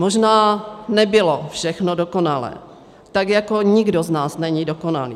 Možná nebylo všechno dokonalé, tak jako nikdo z nás není dokonalý.